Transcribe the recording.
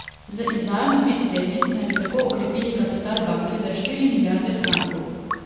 Z izdajo novih delnic naj bi tako okrepili kapital banke za štiri milijarde frankov.